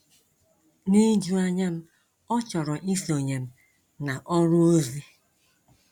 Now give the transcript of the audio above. N' ijuanya m ọ chọrọ isonye m na ọrụ ozi.